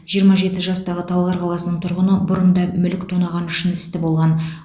жиырма жеті жастағы талғар қаласының тұрғыны бұрын да мүлік тонағаны үшін істі болған